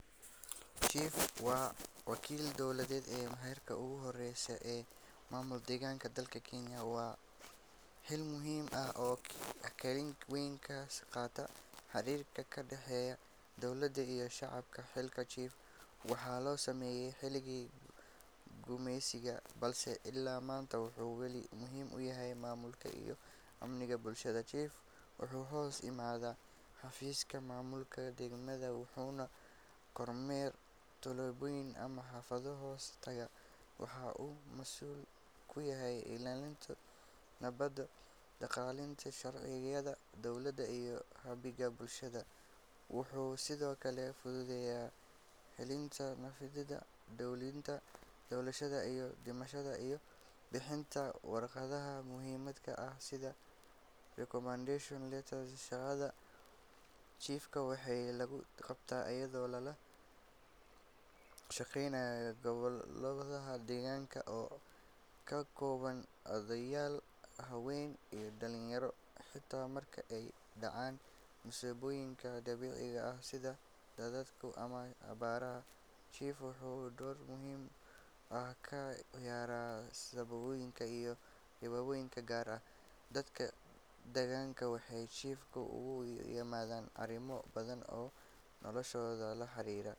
Chief waa wakiilka dowladda ee heerka ugu hooseeya ee maamulka deegaanka dalka Kenya. Waa xil muhiim ah oo kaalin weyn ka qaata xiriirka ka dhexeeya dowladda iyo shacabka. Xilka chief waxaa la sameeyay xilligii gumeysiga, balse ilaa maanta wuxuu weli muhiim u yahay maamulka iyo amniga bulshada. Chief wuxuu hoos yimaadaa xafiiska maamulka degmada wuxuuna kormeeraa tuulooyin ama xaafado hoos taga. Waxaa uu mas’uul ka yahay ilaalinta nabadgelyada, dhaqangelinta sharciyada dowladda, iyo hagidda bulshada. Wuxuu sidoo kale fududeeyaa xalinta khilaafaadka, diiwaangelinta dhalashada iyo dhimashada, iyo bixinta warqadaha muhiimka ah sida recommendation letters. Shaqada chief waxaa lagu qabtaa iyadoo lala kaashanayo golaha deegaanka oo ka kooban odayaal, haween, iyo dhalinyaro. Xitaa marka ay dhacaan masiibooyinka dabiiciga ah sida daadadka ama abaaraha, chief wuxuu door muhiim ah ka ciyaaraa samatabbixinta iyo qaybinta gargaar. Dadka deegaanka waxay chief ugu yimaadaan arrimo badan oo noloshooda la xiriira.